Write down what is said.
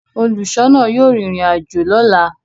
Óluṣọọna yóò rin irin ajo lọla.